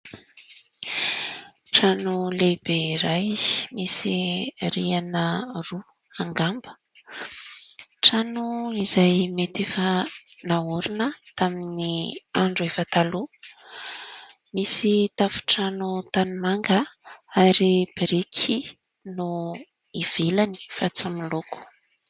Trano lehibe iray misy rihana roa angamba. Trano izay mety efa nahorina tamin'ny andro efa taloha, misy tafontrano tanimanga ary biriky no ivelany fa tsy miloko.